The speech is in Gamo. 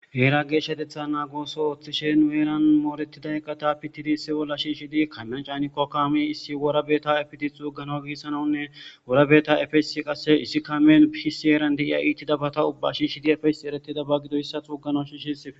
Eera geeshatetha naagooso ooththishe nueeran mooretida eqata pitidi si olla shiishidi kamyan caaniko kami issi worabeta efidi xuugana gissanawunne worabeta efesi qasse issi kamen pisi eeran deiya iitidabata ubba shishidi efesi eretida bagido hissa xuugana shishisife.